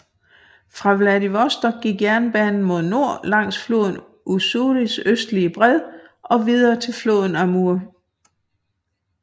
Fra Vladivostok gik jernbanen mod nord langs floden Ussuris østlige bred og videre til floden Amur